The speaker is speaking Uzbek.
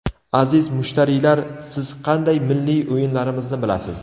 Aziz mushtariylar, siz qanday milliy o‘yinlarimizni bilasiz?